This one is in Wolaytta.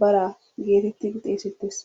baraa geetettidi xeessettees.